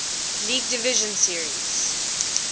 league division series